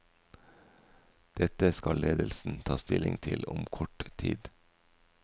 Dette skal ledelsen ta stilling til om kort tid.